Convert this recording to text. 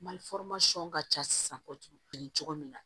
Mali ka ca sisan ko cogo min na